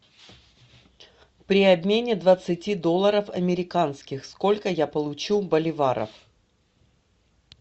при обмене двадцати долларов американских сколько я получу боливаров